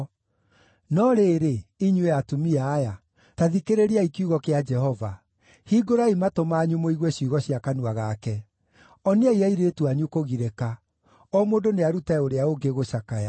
No rĩrĩ, inyuĩ atumia aya, ta thikĩrĩriai kiugo kĩa Jehova; hingũrai matũ manyu mũigue ciugo cia kanua gake. Oniai airĩtu anyu kũgirĩka; o mũndũ nĩarute ũrĩa ũngĩ gũcakaya.